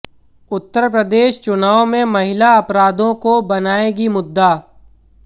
उत्तर प्रदेश चुनाव में महिला अपराधों को बनाऐगी मुद्दा